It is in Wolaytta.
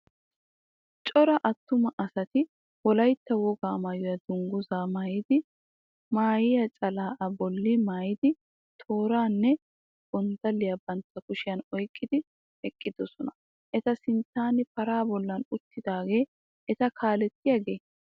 Cora attuma asati wolayitta wogaa maayuwa dunguzaa maayidi maahiya calaa a bolli maayidi tooraanne gondalliya bantta kushiyan oyiqqidi eqqidosona. Eta sinttan paraa bolli uttidaagee eta kaalettiyagee?